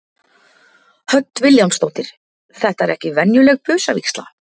Hödd Vilhjálmsdóttir: Þetta er ekki venjuleg busavígsla?